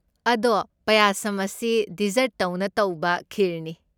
ꯑꯗꯣ ꯄꯌꯥꯁꯝ ꯑꯁꯤ ꯗꯤꯖꯔꯠꯇꯧꯅ ꯇꯧꯕ ꯈꯤꯔꯅꯤ꯫